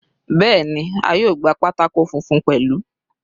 Bẹ́ẹ̀ni, a yóò gba pátákó funfun pẹ̀lú.